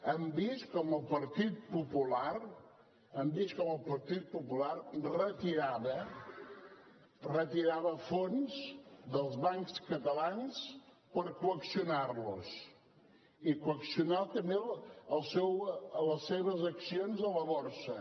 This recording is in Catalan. hem vist com el partit popular hem vist com el partit popular retirava fons dels bancs catalans per coaccionar los i coaccionar també les seves accions a la borsa